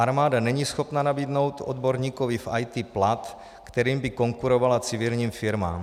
Armáda není schopna nabídnout odborníkovi v IT plat, kterým by konkurovala civilním firmám.